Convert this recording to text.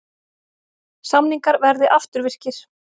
Samningar verði afturvirkir